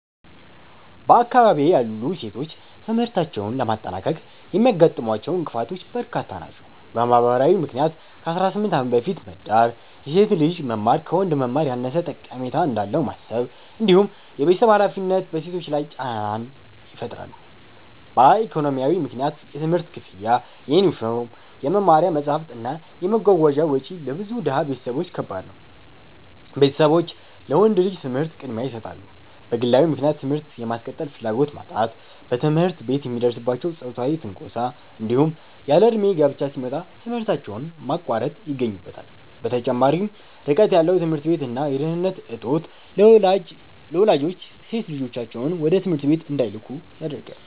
በአካባቢዬ ያሉ ሴቶች ትምህርታቸውን ለማጠናቀቅ የሚያጋጥሟቸው እንቅፋቶች በርካታ ናቸው። በማህበራዊ ምክንያት ከ18 ዓመት በፊት መዳር፣ የሴት ልጅ መማር ከወንድ መማር ያነሰ ጠቀሜታ እንዳለው ማሰብ፣ እንዲሁም የቤተሰብ ሃላፊነት በሴቶች ላይ ጫና ይፈጥራሉ። በኢኮኖሚያዊ ምክንያት የትምህርት ክፍያ፣ የዩኒፎርም፣ የመማሪያ መጽሐፍት እና የመጓጓዣ ወጪ ለብዙ ድሃ ቤተሰቦች ከባድ ነው፤ ቤተሰቦች ለወንድ ልጅ ትምህርት ቅድሚያ ይሰጣሉ። በግለዊ ምክንያት ትምህርት የማስቀጠል ፍላጎት ማጣት፣ በትምህርት ቤት የሚደርስባቸው ጾታዊ ትንኮሳ፣ እንዲሁም ያለእድሜ ጋብቻ ሲመጣ ትምህርታቸውን ማቋረጥ ይገኙበታል። በተጨማሪም ርቀት ያለው ትምህርት ቤት እና የደህንነት እጦት ለወላጆች ሴት ልጆቻቸውን ወደ ትምህርት ቤት እንዳይልኩ ያደርጋል።